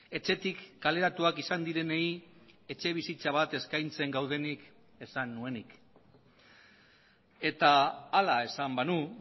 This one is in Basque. etxetik kaleratuak izan direnei etxebizitza bat eskaintzen gaudenik esan nuenik eta hala esan banu